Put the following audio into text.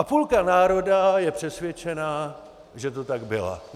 A půlka národa je přesvědčená, že to tak bylo.